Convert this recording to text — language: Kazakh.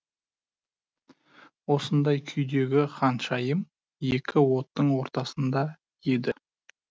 осындай күйдегі ханшайым екі оттың ортасында еді